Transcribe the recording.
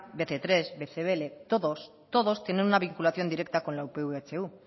be ce tres bcbl todos todos tienen una vinculación directa con la upv ehu